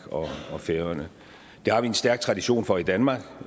og færøerne det har vi en stærk tradition for i danmark